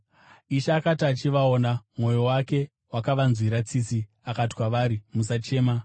Ishe akati achivaona, mwoyo wake wakavanzwira tsitsi, akati kwavari, “Musachema.”